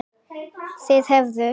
Þeir hefðu